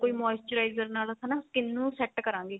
moisturizer ਨਾਲ ਆਪਾਂ ਹਨਾ skin ਨੂੰ set ਕਰਾਂਗੇ